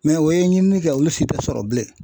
Mɛ o ye ɲininikɛ olu si tɛ sɔrɔ bilen